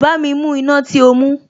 Bámi mú iná tí o mú